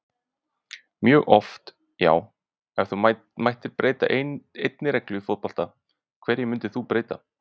mjög oft já Ef þú mættir breyta einni reglu í fótbolta, hverju myndir þú breyta?